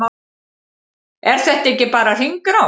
Er þetta ekki bara hringrás?